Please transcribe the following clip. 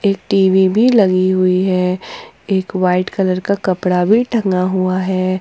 एक T V भी लगी हुई है एक वाइट कलर का कपड़ा भी टंगा हुआ है।